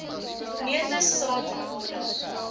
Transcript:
neute saad bolle